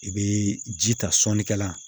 I bɛ ji ta sɔnikɛla